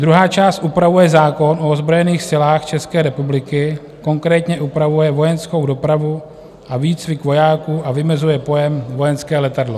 Druhá část upravuje zákon o ozbrojených silách České republiky, konkrétně upravuje vojenskou dopravu a výcvik vojáků a vymezuje pojem vojenské letadlo.